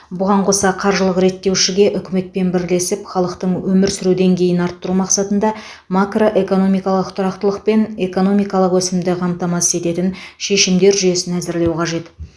бұған қоса қаржылық реттеушіге үкіметпен бірлесіп халықтың өмір сүру деңгейін арттыру мақсатында макроэкономикалық тұрақтылық пен экономикалық өсімді қамтамасыз ететін шешімдер жүйесін әзірлеу қажет